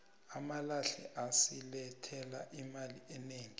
amalahle asilethela imali enegi